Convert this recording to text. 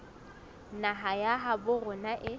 naha ya habo rona e